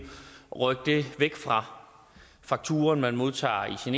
rykke det væk fra fakturaen man modtager i sin e